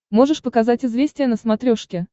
можешь показать известия на смотрешке